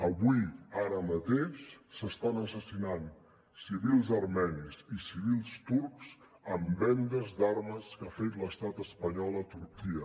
avui ara mateix s’estan assassinant civils armenis i civils turcs amb vendes d’armes que ha fet l’estat espanyol a turquia